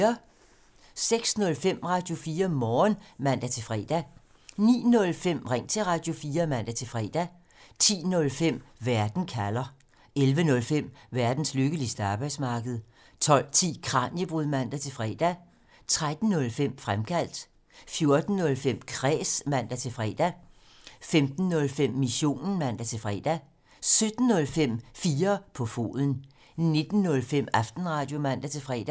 06:05: Radio4 Morgen (man-fre) 09:05: Ring til Radio4 (man-fre) 10:05: Verden kalder 11:05: Verdens lykkeligste arbejdsmarked 12:10: Kraniebrud (man-fre) 13:05: Fremkaldt 14:05: Kræs (man-fre) 15:05: Missionen (man-fre) 17:05: 4 på foden 19:05: Aftenradio (man-fre)